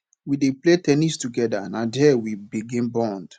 we dey play ten nis togeda na there we begin bond